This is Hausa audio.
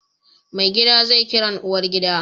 Maigida zai Kiran uwar gida